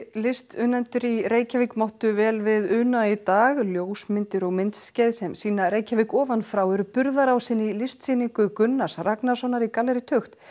listunnendur í Reykjavík máttu vel við una í dag ljósmyndir og myndskeið sem sýna Reykjavík ofan frá eru burðarásinn í listasýningu Gunnars Ragnarssonar í gallerí tukt